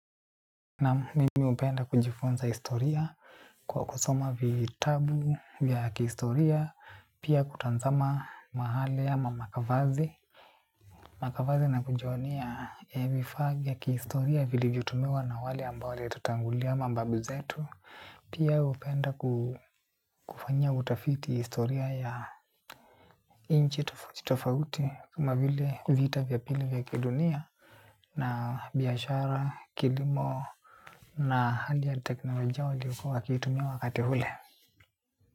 Naam mimi hupenda kujifunza historia kwa kusoma vitabu vya kihistoria. Pia kutunza mahali ya makavazi makavazi na kujionea vifaa vya kihistoria vilivyotumiwa na wale ambao walitutangulia mababu zetu. Pia hupenda kufanya utafiti historia ya inchi tofauti tofauti kama vile vita vya pili vya kidunia. Na biashara kilimo na hali ya teknolojia waliyokuwa wakiitumia wakati ule.